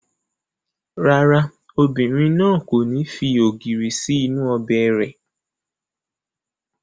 Rárá, obìnrin náà kò ní fi ògìrì sí inú ọbẹ̀ rẹ̀